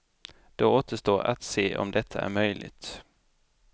Det återstår att se om detta är möjligt.